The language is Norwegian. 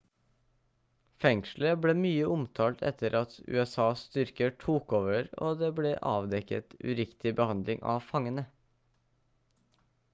fengselet ble mye omtalt etter at usas styrker tok over og det ble avdekket uriktig behandling av fangene